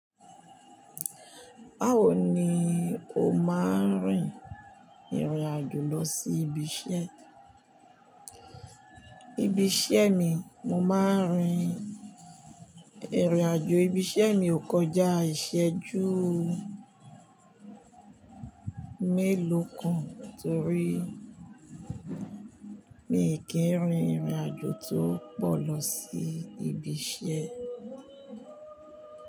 Báwo ni o máa ń rin ìrìn àjò lọ sí ibi iṣẹ́? Ibi iṣẹ́ mi, mo máa ń rin ìrìn àjò ibi iṣẹ́ mi kò jà ìṣẹ́ ju. Mélòó kan torí mi kì í rin ìrìn àjò tó pọ̀ lọ sí ibi iṣẹ́.